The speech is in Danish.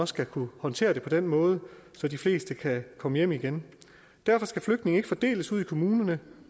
skal kunne håndtere det på en måde så de fleste kan komme hjem igen derfor skal flygtninge ikke fordeles ude i kommunerne